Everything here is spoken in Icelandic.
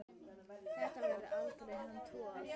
Það verður aldrei annar Thor.